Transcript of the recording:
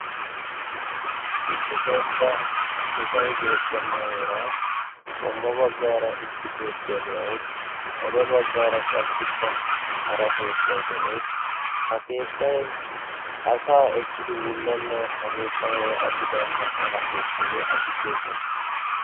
issi dembba kekay beettenna heera qommo baggaara issi keettiyaa de'awus xade baggaara qassikka hara keettay de'ees ha keettay asaa ekkidi wullenne ha keettan woy asi baynna ona keettayye asi diyo keette